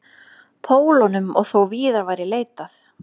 Pólunum og þó víðar væri leitað.